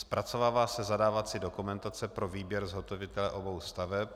Zpracovává se zadávací dokumentace pro výběr zhotovitele obou staveb.